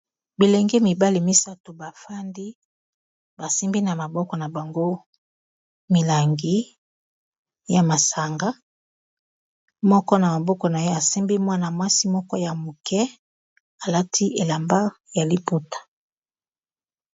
Bilenge mibale misato ba fandi basimbi na maboko na bango milangi ya masanga moko na maboko na ye asimbi mwana mwasi moko ya moke alati elamba ya liputa.